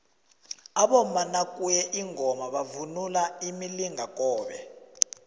abomama nakuye ingoma bavunula imilingakobe